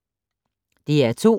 DR2